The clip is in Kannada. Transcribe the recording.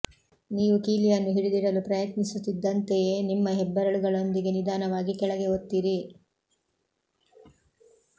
ನೀವು ಕೀಲಿಯನ್ನು ಹಿಡಿದಿಡಲು ಪ್ರಯತ್ನಿಸುತ್ತಿದ್ದಂತೆಯೇ ನಿಮ್ಮ ಹೆಬ್ಬೆರಳುಗಳೊಂದಿಗೆ ನಿಧಾನವಾಗಿ ಕೆಳಗೆ ಒತ್ತಿರಿ